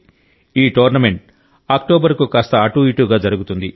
ఈ tournament October కు కాస్త అటూ ఇటూగా జరుగుతుంది